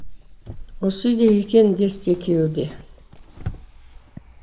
осы үйде екен десті екеуі де